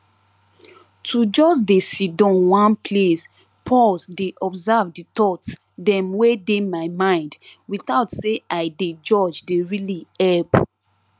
to just dey sidon one place pause dey observe the thoughts dem wey dey my mind without say i dey judge dey really help